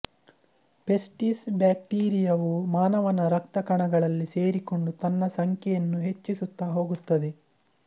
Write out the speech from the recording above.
ಪೆಸ್ಟಿಸ್ ಬ್ಯಾಕ್ಟೀರಿಯವು ಮಾನವನ ರಕ್ತ ಕಣಗಳಲ್ಲಿ ಸೇರಿಕೊಂಡು ತನ್ನ ಸಂಖ್ಯೆಯನ್ನು ಹೆಚ್ಚಿಸುತ್ತಾ ಹೊಗುತ್ತದೆ